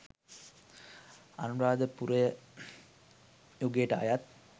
අනුරාධපුර යුගයට අයත්